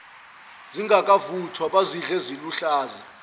zingakavuthwa bazidle ziluhlaza